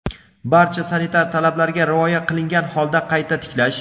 barcha sanitar talablarga rioya qilingan holda qayta tiklash.